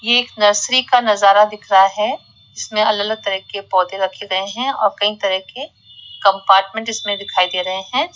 ये एक नर्सरी का नजारा दिख रहा है इसमें अलग अलग तरह के पौधे रखे गए है और कई तरह के कंपार्टमेंट इसमें दिखाई दे रहे है।